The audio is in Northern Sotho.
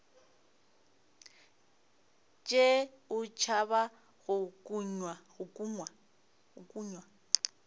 tšee o tšhaba go kunywa